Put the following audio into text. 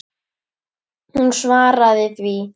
Hún svaraði því.